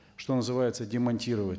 что называется демонтировать